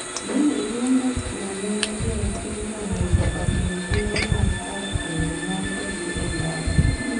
Ne iluongo chwo ma ne ni e pinyno mondo otim tije mag ot mondo mon odhi e ndara.